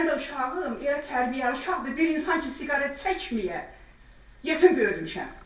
Mənim də uşağım elə tərbiyəli uşaqdır, elə insan ki, siqaret çəkməyə yetim böyütmüşəm.